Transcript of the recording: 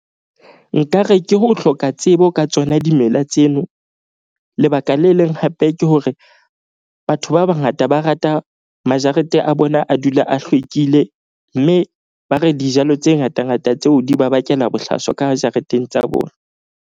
Nkare ke ho hloka tsebo ka tsona dimela tseno. Lebaka le leng hape ke hore batho ba bangata ba rata majarete a bona, a dula a hlwekile. Mme ba re dijalo tse ngata ngata tseo di ba bakela bohlaswa ka jareteng tsa bona.